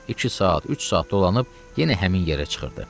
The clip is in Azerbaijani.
İki saat, üç saat dolanıb yenə həmin yerə çıxırdı.